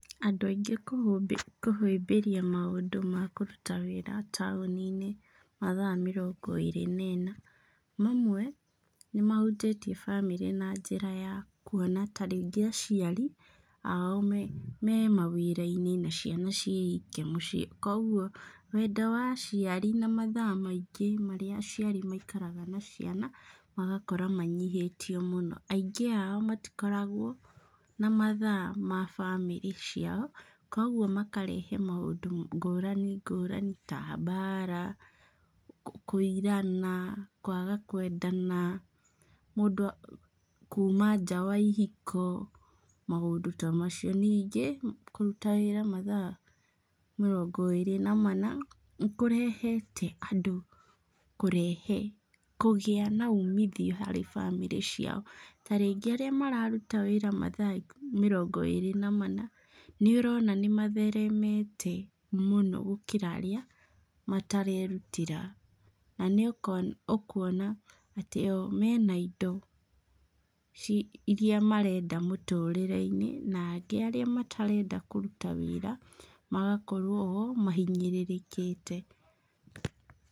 Andũ aingĩ kũhĩmbĩrĩa maũndũ makũruta wĩra taũni-inĩ, mathaa mĩrongo ĩrĩ na mana, mamwe nĩ mahũtĩtie bamĩrĩ na njĩra ya kuona ta rĩngĩ aciari ao me mawĩra-inĩ na ciana ciĩ ike mũcĩĩ, koguo wendo wa aciari na mathaa maingĩ marĩa aciari maikaraga na ciana, magakorwo manyihĩtio mũno, aingĩ ao matikoragwo na mathaa ma bamĩrĩ ciao, kũguo makarehe maũndũ ngũrani ngũrani ta bara , kũirana , kwaga kwendana, mũndũ , kuma nja wa ihiko , maũndũ ta macio, ningĩ kũruta wĩra mathaa mĩrongo ĩrĩ na mana , nĩkũrehete andũ nĩ kũrehete, kũgĩa na umithio harĩ bamĩrĩ ciao, ta rĩngĩ arĩa mararuta wĩra mathaa mĩrongo ĩrĩ na mana, ũrona nĩ matheremete mũno gũkĩra arĩa matarerutĩra, na nĩ ũko ũkuona atĩ o menda indo ci iria marenda mũtũrĩre-inĩ, na angĩ arĩa matarenda kũruta wĩra , magakorwo o mahinyĩrĩrĩkĩte.